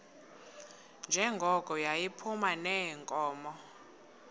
njengoko yayiphuma neenkomo